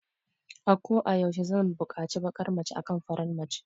Ako a yaushe zan bukaci bakar mace akan farar mace